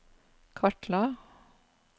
kartla